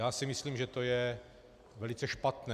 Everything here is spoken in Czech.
Já si myslím, že to je velice špatné.